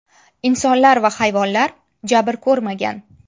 Insonlar va hayvonlar jabr ko‘rmagan.